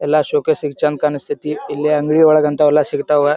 ಎಲ್ಲಾ showcase ಗೆ ಚಂದ್ ಕಾಣಸ್ತತಿ ಇಲ್ಲಿ ಅಂಗಡಿ ಒಳಗ್ ಹಂತಾವ್ ಯೆಲ್ಲಾ ಸಿಗತ್ವ್.